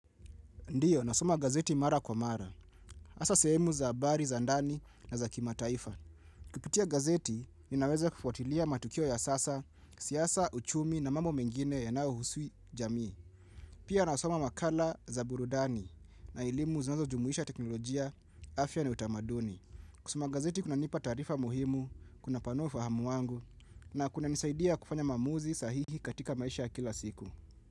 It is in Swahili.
Ndio, nasoma gazeti mara kwa mara. Hasa sehemu za habari za ndani na za kimataifa. Kupitia gazeti, ninaweza kufuatilia matukio ya sasa, siasa, uchumi na mambo mengine yanayohusu jamii. Pia nasoma makala za burudani na elimu zinazojumuisha teknolojia, afya na utamaduni. Kusoma gazeti kunanipa taarifa muhimu, kunapanua ufahamu wangu na kunanisaidia kufanya maamuzi sahihi katika maisha ya kila siku.